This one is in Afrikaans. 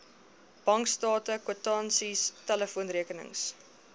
bankstate kwitansies telefoonrekenings